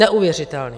Neuvěřitelný.